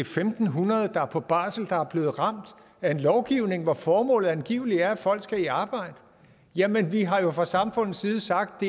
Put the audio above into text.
fem hundrede der er på barsel der er blevet ramt af en lovgivning hvor formålet angivelig er at folk skal i arbejde jamen vi har jo fra samfundets side sagt